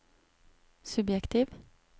subjektiv